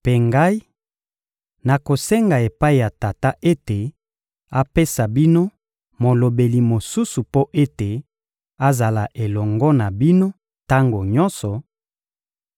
Mpe Ngai, nakosenga epai ya Tata ete apesa bino Molobeli mosusu mpo ete azala elongo na bino tango nyonso,